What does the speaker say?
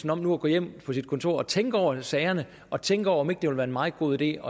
om nu at gå hjem på sit kontor og tænke over sagerne og tænke over om ikke det ville være en meget god idé